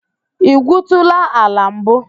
I gwuutula ala mbu?